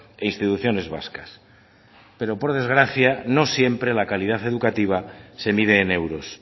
e instituciones vascas pero por desgracia no siempre la calidad educativa se mide en euros